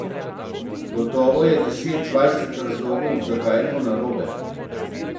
Gotovo je deset, dvajset razlogov, zakaj je to narobe.